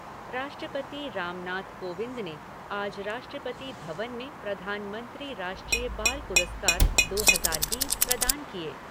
राष्ट्रपति रामनाथ कोविंद ने आज राष्ट्रपति भवन में प्रधानमंत्री राष्ट्रीय बाल पुरस्कार दो हजार बीस प्रदान किये।